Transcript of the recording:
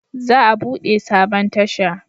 Za a bude sabon tasha